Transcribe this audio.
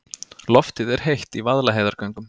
Loftið er heitt í Vaðlaheiðargöngum.